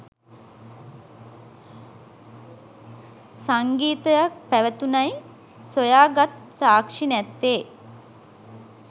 සංගීතයක් පැවැතුනයි සොයා ගත් සාක්ෂි නැත්තෙ.